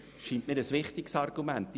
Das ist ein wichtiges Argument.